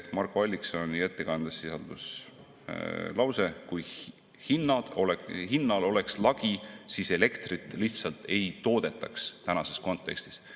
Marko Alliksoni ettekandes sisaldus lause: kui hinnal oleks lagi, siis elektrit lihtsalt ei toodetaks tänases kontekstis.